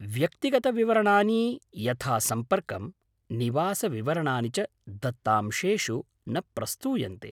व्यक्तिगतविवरणानि यथा सम्पर्कं, निवासविवरणानि च दत्तांशेषु न प्रस्तूयन्ते।